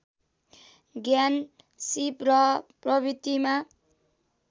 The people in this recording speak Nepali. ज्ञान सीप र प्रवृतिमा